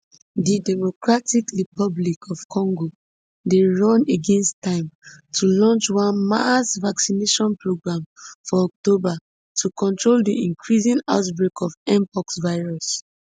di democratic republic of congo dey run against time to launch one mass vaccination programme for october to control di increasing outbreak of mpox virus